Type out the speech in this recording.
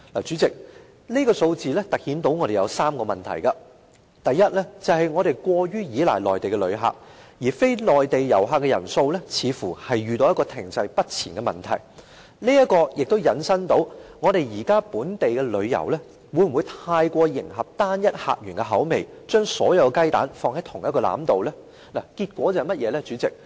主席，這數字突顯3個問題，第一是我們過於依賴內地旅客，而非內地旅客的人數似乎遇到停滯不前的問題，這也引申出現時本地旅遊會否過於迎合單一客源的口味，將所有雞蛋放在同一個籃子裏呢？